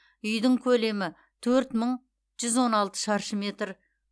үйдің көлемі төрт мың жүз он алты шаршы метр